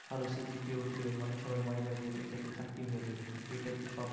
ভালো CGPA উঠিয়ে মানে সবাই মনে করে এটা থেক্কে চাকরি হয়ে যাবে কিন্তু এটা তো সব